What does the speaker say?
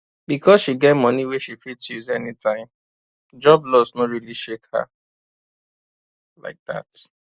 because she get money wey she fit use anytime job loss no really shake her like that